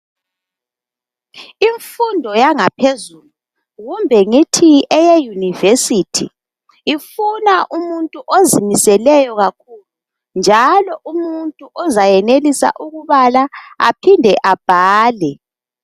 Imfundo yangaphezulu kumbe ngithi eyeyunivesithi ifuna umuntu ozimiseleyo kakhulu, njalo umuntu izayenelisa ukubala aphinde abhale.